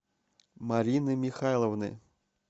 марины михайловны